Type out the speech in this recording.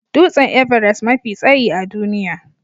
Dutsen Everest mafi tsayi a duniya